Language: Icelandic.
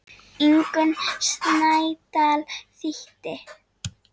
Ingunn Snædal þýddi.